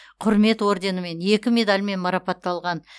құрмет орденімен екі медальмен марапатталған